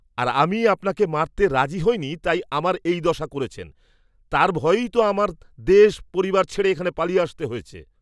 আর আমি আপনাকে মারতে রাজি হইনি তাই আমার এই দশা করেছেন, তাঁর ভয়েই তো আমার দেশ, পরিবার ছেড়ে এখানে পালিয়ে আসতে হয়েছে।